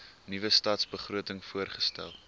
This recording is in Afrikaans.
nuwe stadsbegroting voorgestel